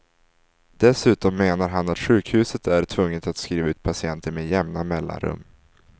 Dessutom menar han att sjukhuset är tvunget att skriva ut patienter med jämna mellanrum.